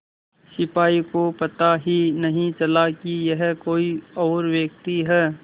सिपाही को पता ही नहीं चला कि यह कोई और व्यक्ति है